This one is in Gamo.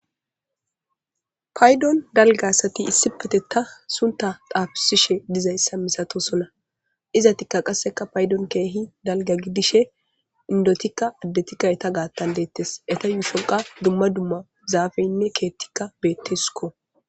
Payidon daliga asati banita sunitha xafisishe dizays misatosona izatika qa payidon kehi daligagidishe qa indotika adetika enita gidon detes ubatika duma duma zapeyinee kethika betesiko